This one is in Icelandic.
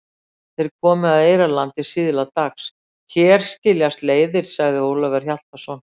Þeir komu að Eyrarlandi síðla dags.-Hér skiljast leiðir, sagði Ólafur Hjaltason.